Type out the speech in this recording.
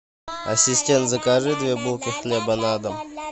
ассистент закажи две булки хлеба на дом